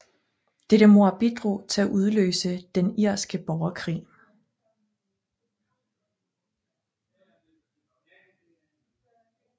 Dette mord bidrog til at udløse den Den irske borgerkrig